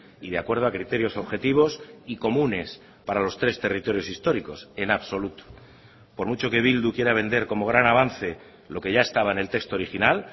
y de acuerdo a criterios objetivos y comunes para los tres territorios históricos en absoluto por mucho que bildu quiera vender como gran avance lo que ya estaba en el texto original